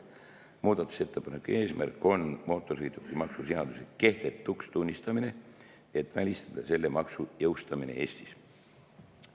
Muudatusettepaneku eesmärk on mootorsõidukimaksu seaduse kehtetuks tunnistamine, et välistada selle maksu jõustamine Eestis.